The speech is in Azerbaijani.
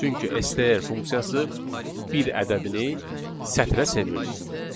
Çünki STR funksiyası bir ədədini sətrə çevirdi.